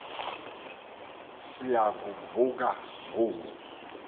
siya kuvuka ngoku